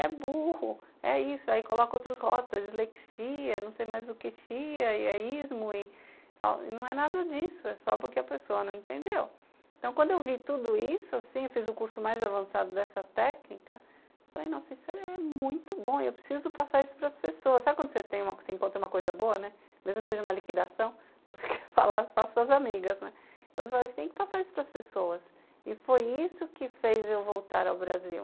é burro, é isso, aí coloca outras rótulos, é dislexia, não sei mais o que, xia e é ismo e não é nada disso, é só porque a pessoa não entendeu. Então quando eu vi tudo isso assim, eu fiz o curso mais avançado dessa técnica falei, nossa, isso é muito bom, eu preciso passar isso para as pessoas. Sabe quando você encontra uma coisa boa mesmo que seja uma liquidação, você quer falar para as suas amigas então você fala que tem que passar isso para as pessoas e foi isso que fez eu voltar ao Brasil